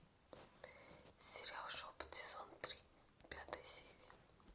сериал шепот сезон три пятая серия